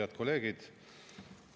Head kolleegid!